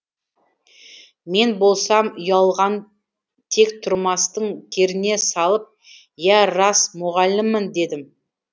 мен болсам ұялған тек тұрмастың керіне салып иә рас мұғаліммін дедім